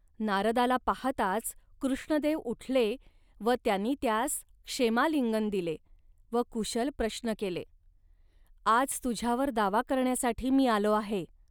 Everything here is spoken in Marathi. नारदाला पाहताच कृष्णदेव उठले व त्यांनी त्यास क्षेमालिंगन दिले व कुशल प्रश्न केले. आज तुझ्यावर दावा करण्यासाठी मी आलो आहे